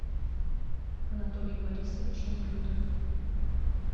анатолий борисович неклюдов